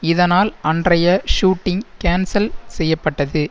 இதனால் அன்றைய shooting cancel செய்ய பட்டது